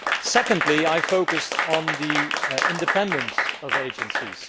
Secondly, I focused on the independence of agencies.